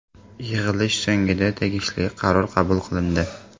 Yig‘ilish so‘ngida tegishli qaror qabul qilindi.